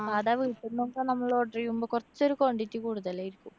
സാധാ വീട്ടിന്നൊക്കെ നമ്മള് order ചെയ്യുമ്പോ കൊറച്ചൊരു quantity കൂടുതലായിരിക്കും.